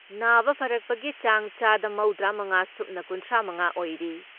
ꯅꯥꯕ ꯐꯔꯛꯄꯒꯤ ꯆꯥꯡ ꯆꯥꯗ ꯃꯧꯗ꯭ꯔꯥ ꯃꯉꯥ ꯁꯨꯞꯅ ꯀꯨꯟꯊ꯭ꯔꯥ ꯃꯉꯥ ꯑꯣꯏꯔꯤ ꯫